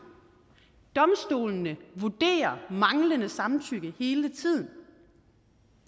domstolene vurderer manglende samtykke hele tiden